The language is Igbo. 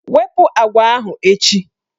Wepu agwa ahụ echi!